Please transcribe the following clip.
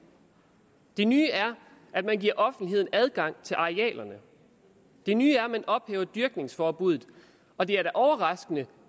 det nye er at man giver offentligheden adgang til arealerne det nye er at man ophæver dyrkningsforbuddet og det er da overraskende